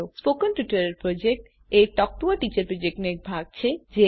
spoken tutorial project a talk to a teacher પ્રોજેક્ટનો એક ભાગ છે